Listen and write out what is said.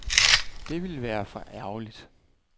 Det ville være for ærgerligt.